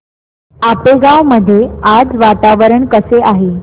आपेगाव मध्ये आज वातावरण कसे आहे